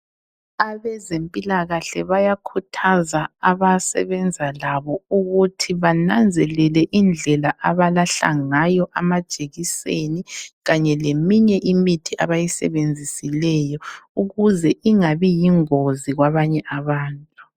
Abezempilakahle bayakhuthaza abasebenza labo ukuthi bananzelele indlela abalahla ngayo amajikiseni kanye leminye imithi abayisebenzisileyo ukuze ingabi yingozi kwabanye abantu.